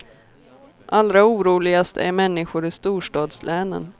Allra oroligast är människor i storstadslänen.